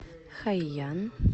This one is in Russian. хайян